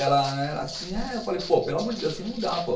Ela era assim, eu falei, pô, pelo amor de Deus, não dá, pô.